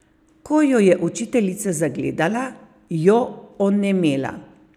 Ko jo je učiteljica zagledala, jo onemela.